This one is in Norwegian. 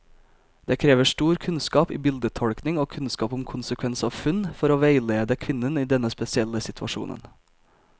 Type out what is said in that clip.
Det krever stor kunnskap i bildetolkning og kunnskap om konsekvens av funn, for å veilede kvinnen i denne spesielle situasjonen.